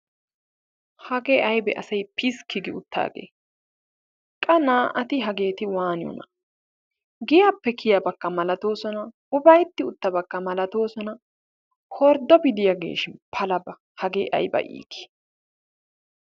hagee ayba asay piskki gi utaagee? qa na"atti hageeti waniyoona? giyaappe kiyabakka malatoosona. ufaaytti uttabakka malatoosona. horddopi diyaageshin palaba hagee ayba iitii!